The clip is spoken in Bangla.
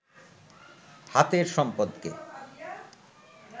হাতের সম্পদকে